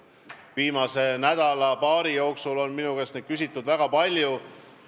Viimase nädala-paari jooksul on minu käest seda väga palju küsitud.